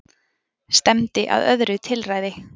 Stefndi að öðru tilræði